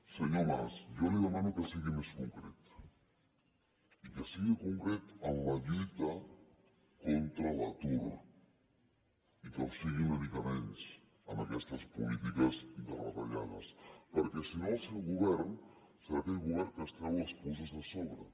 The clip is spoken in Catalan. senyor mas jo li demano que sigui més concret i que sigui concret en la lluita contra l’atur i que ho sigui una mica menys en aquestes polítiques de retallades perquè si no el seu govern serà aquell govern que es treu les puces de sobre